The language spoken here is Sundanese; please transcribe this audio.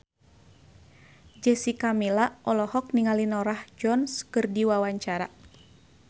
Jessica Milla olohok ningali Norah Jones keur diwawancara